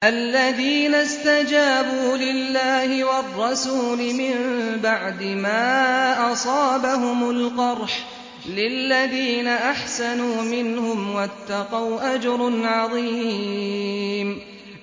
الَّذِينَ اسْتَجَابُوا لِلَّهِ وَالرَّسُولِ مِن بَعْدِ مَا أَصَابَهُمُ الْقَرْحُ ۚ لِلَّذِينَ أَحْسَنُوا مِنْهُمْ وَاتَّقَوْا أَجْرٌ عَظِيمٌ